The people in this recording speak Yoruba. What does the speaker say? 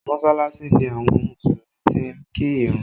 Mọsalasi ni àwọn Mùsùlùmí ti ń kí ìrun